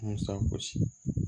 Musa kosi